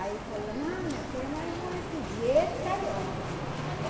Aí falou, não, minha filha, mas eu vou lhe pedir esse carioca.